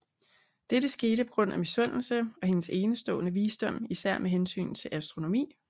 Dette skete på grund af misundelse og hendes enestående visdom især med hensyn astronomi